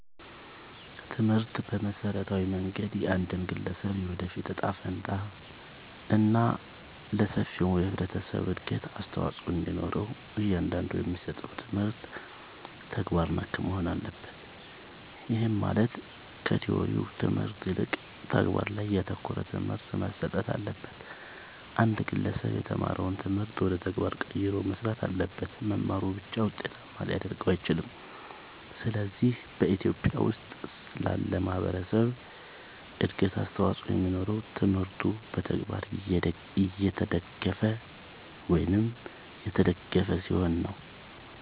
ትምህርት በመሠረታዊ መንገድ የአንድን ግለሠብ የወደፊት እጣ ፈንታ እና ለሠፊው የህብረተሠብ እድገት አስተዋፅኦ እንዲኖረው እያንዳንዱ የሚሠጠው ትምህርት ተግባር ነክ መሆን አለበት። ይህም ማለት ከቲወሪው ትምህርት ይልቅ ተግባር ላይ ያተኮረ ትምህርት መሠጠት አለበት። አንድ ግለሠብ የተማረውን ትምህርት ወደ ተግባር ቀይሮ መሥራት አለበት። መማሩ ብቻ ውጤታማ ሊያደርገው አይችልም። ስለዚህ በኢትዮጲያ ውስጥ ላለ ማህበረሠብ እድገት አስተዋፅኦ የሚኖረው ትምህርቱ በተግባር የተደገፈ ሲሆን ነው።